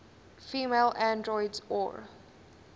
female androids or